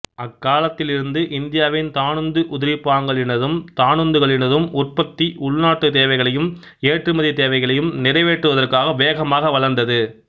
அக்காலத்திலிருந்து இந்தியாவின் தானுந்து உதிரிப்பாகங்களினதும் தானுந்துகளினதும் உற்பத்தி உள்நாட்டுத் தேவைகளையும் ஏற்றுமதித் தேவைகளையும் நிறைவேற்றுவதற்காக வேகமாக வளர்ந்தது